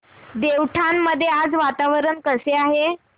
देवठाण मध्ये आज वातावरण कसे आहे